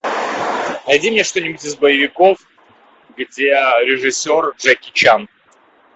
найди мне что нибудь из боевиков где режиссер джеки чан